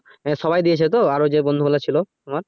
হ্যা সবাই দিয়েছে তো আর ওই বন্ধু বলে ছিলো তোমার।